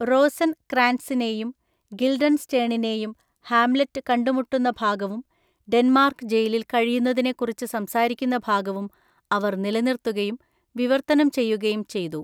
റോസൻക്രാൻട്സിനെയും ഗിൽഡൻസ്റ്റേണിനെയും ഹാംലെറ്റ് കണ്ടുമുട്ടുന്ന ഭാഗവും ഡെൻമാർക്ക് ജയിലിൽ കഴിയുന്നതിനെക്കുറിച്ച് സംസാരിക്കുന്ന ഭാഗവും അവർ നിലനിർത്തുകയും വിവർത്തനം ചെയ്യുകയും ചെയ്തു.